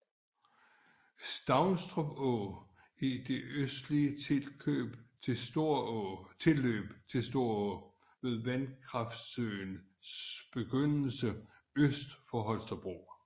Savstrup Å er et østligt tilløb til Storå ved Vandkraftsøens begyndelse øst for Holstebro